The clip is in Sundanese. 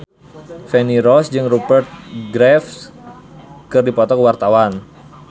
Feni Rose jeung Rupert Graves keur dipoto ku wartawan